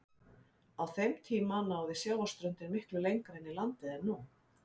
Á þeim tíma náði sjávarströndin miklu lengra inn í landið en nú.